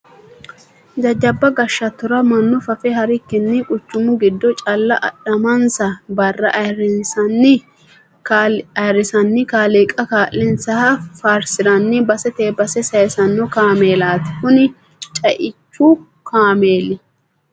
Jajjabba goshattora mannu fafe harikkini quchumu giddo calla adhamansa barra ayirrisani kaaliiqa kaa'linsaha faarsirani basete base saysano kaameellati kuni ceichu kaameeli.